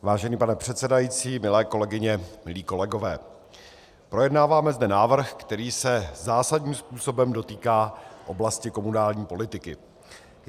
Vážený pane předsedající, milé kolegyně, milí kolegové, projednáváme zde návrh, který se zásadním způsobem dotýká oblasti komunální politiky.